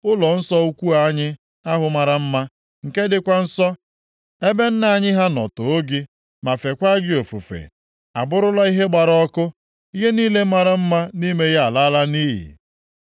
Ụlọnsọ ukwu anyị ahụ mara mma, nke dịkwa nsọ, ebe nna anyị ha nọ too gị, ma feekwa gị ofufe, abụrụla ihe a gbara ọkụ. Ihe niile mara mma nʼime ya alaala nʼiyi.